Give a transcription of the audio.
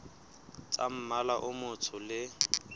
tsa mmala o motsho le